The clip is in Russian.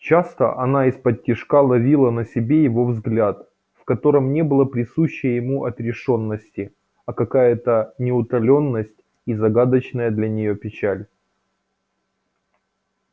часто она исподтишка ловила на себе его взгляд в котором не было присущей ему отрешеённости а какая-то неутоленность и загадочная для неё печаль